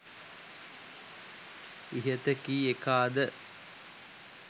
ඉහත කී එකාද